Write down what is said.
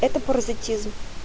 это паразитизм